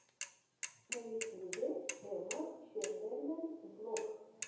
на ютьюбе эмма чемберлен влог